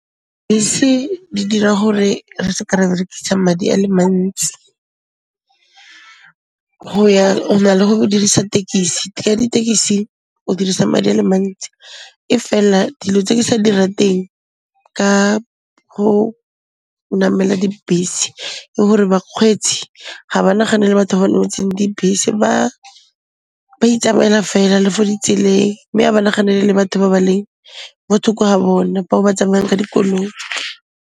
Bese di dira gore re seka ra berekisa madi a le mantsi, go ya o na le go dirisa tekisi. Ka ditekisi o dirisa madi a le mantsi e fela dilo tse ke sa di rateng ka go namela dibese ke gore bakgweetsi ga ba naganele batho ba nametseng dibese, ba itsamaela fela le fo ditseleng mme a ba naganele batho ba ba leng mo thoko ga bone, ba ba tsamayang ka dikoloi.